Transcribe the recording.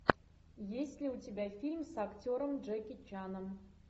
есть ли у тебя фильм с актером джеки чаном